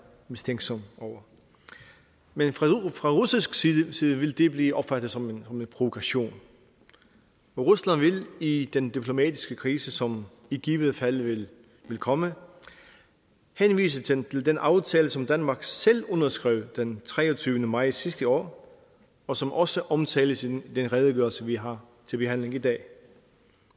mistænksom over men fra russisk side side vil det blive opfattet som en provokation rusland vil i den diplomatiske krise som i givet fald vil komme henvise til den aftale som danmark selv underskrev den treogtyvende maj sidste år og som også omtales i den redegørelse vi har til behandling i dag